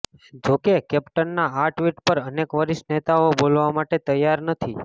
જો કે કેપ્ટનના આ ટ્વીટ પર અનેક વરિષ્ઠ નેતાઓ બોલવા માટે તૈયાર નથી